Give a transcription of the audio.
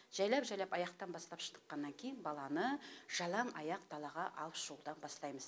жайлап жайлап аяқтан бастап шыныққаннан кейін баланы жалаңаяқ далаға алып шығудан бастаймыз